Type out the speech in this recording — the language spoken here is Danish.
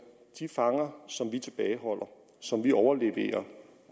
de fanger som vi tilbageholder og som vi overleverer